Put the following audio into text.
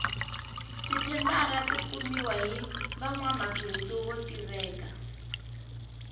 ti thendara ti kumiwa hi vanwamabindzu vo tiveka